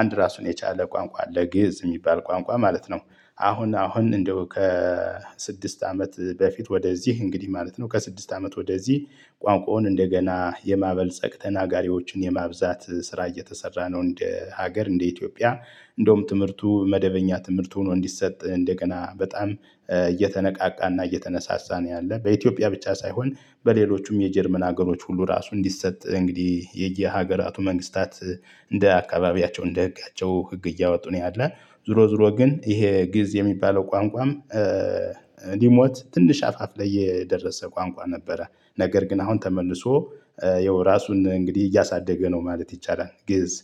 አንድ ራሱን የቻለ ቋንቋ ግእዝ የሚባል ቋንቋ ማለት ነው። አሁን አሁን እንደው ከስድስት አመት በፊት ወደዚህ እንግዲህ ማለት ነው ከስድስት አመት ወደዚህ ቋንቋውን እንደገና የማበልጸግ ተናጋሪዎችን የማብዛት ስራ እየተሰራ ነው። እንደ ሀገር እንደ ኢትዮጵያ እንደውም ትምህርቱ መደበኛ ትምህርት ሆኖ እንዲሰጥ እንደገና በጣም እየተነቃቃና እየተነሳሳ ነው። ያለው በኢትዮጵያ ብቻ ሳይሆን በሌሎችም የጀርመን ሀገሮች ሁሉ ራሱ እንዲሰጥ እንግዲህ የየሀገራቱ መንግስታት። እንደ አካባቢያቸው እንደ ህጋቸው ህግ እያወጡ ነው ያለ ዝዙሮ ዙሮ ግን ይሄ ግእዝ የሚባለው ቋንቋም። ሊሞት ትንሽ አፋፍ ላይ የደረሰ ቋንቋ ነበረ። ነገር ግን አሁን ተመልሶ ያው ራሱን እንግዲህ እያሳደገ ነው ማለት ይቻላል። ግእዝ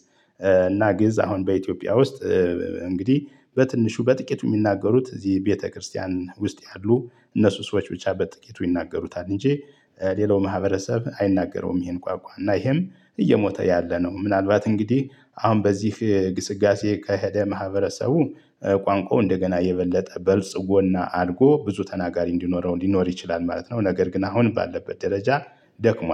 እና ግእዝ አሁን በኢትዮጵያ ውስጥ። እንግዲህ በትንሹ በጥቂቱ የሚናገሩት እዚህ ቤተክርስቲያን ውስጥ ያሉ እነሱ ሰዎች ብቻ በጥቂቱ ይናገሩታል እንጂ ሌላው ማህበረሰብ አይናገረውም። ይሄን ቋንቋ እና ይሄም እየሞተ ያለ ነው። ምናልባት እንግዲህ አሁን በዚህ ግስጋሴ ከሄደ ማህበረሰቡ ቋንቋው እንደገና የበለጠ በልጽጎና አድጎ ብዙ ተናጋሪ እንዲኖረው እንዲኖር ይችላል ማለት ነው። ነገር ግን አሁን ባለበት ደረጃ ደክሟል